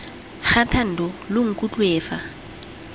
ga thando lo nkutlwe fa